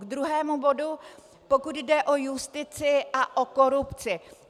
K druhému bodu, pokud jde o justici a o korupci.